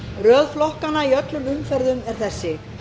röð flokkanna er í öllum umferðum þessi